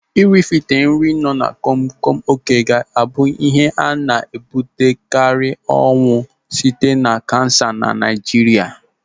Ị rife nri nọ komkom oké ga-abụ ihe na-ebute karị ọnwụ site na kansa na Naijiria.